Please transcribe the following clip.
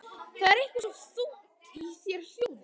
Það er eitthvað svo þungt í þér hljóðið.